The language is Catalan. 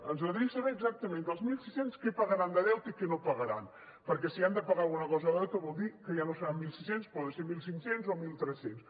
ens agradaria saber exactament dels mil sis cents què pagaran de deute i què no pagaran perquè si han de pagar alguna cosa de deute vol dir que ja no seran mil sis cents poden ser mil cinc cents o mil tres cents